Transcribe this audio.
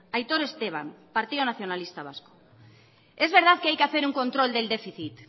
aitor esteban partido nacionalista vasco es verdad que hay que hacer un control del déficit